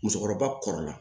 Musokɔrɔba kɔrɔla